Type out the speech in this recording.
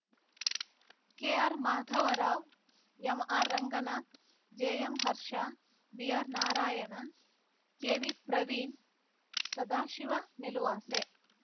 K R Madhavrao MR Ranganath JM Harsha BR Narayana KV Praveen Sadashiva Niluvase